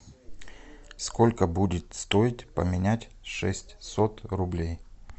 сколько будет стоить поменять шестьсот рублей